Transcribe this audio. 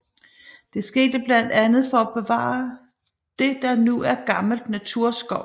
Det skete blandt andet for at bevare det der nu er gammel naturskov